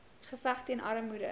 geveg teen armoede